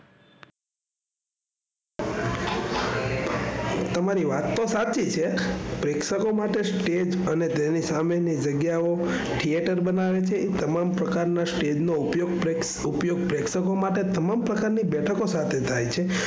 તમારી વાત તો સાચી છે. પ્રેક્ષકો માટે સ્ટેજ અને તેની સામે ની જગ્યાઓ theater બનાવે છે, એ તમામ પ્રકાર ના સ્ટેજ નો ઉપયોગ પ્રે ઉપયોગ પ્રેક્ષકો માટે તમામ પ્રકાર ની બેઠકો સાથે થાય છે.